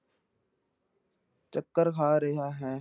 ਚੱਕਰ ਖਾ ਰਿਹਾ ਹੈ।